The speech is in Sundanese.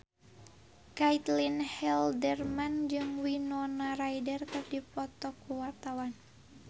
Caitlin Halderman jeung Winona Ryder keur dipoto ku wartawan